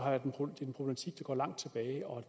går langt tilbage og